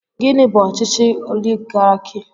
Gịnị bú ọchịchị oligarki?